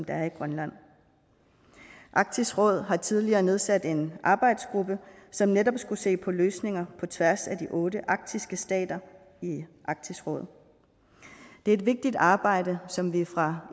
er i grønland arktisk råd har tidligere nedsat en arbejdsgruppe som netop skulle se på løsninger på tværs af de otte arktiske stater i arktisk råd det er et vigtigt arbejde som vi fra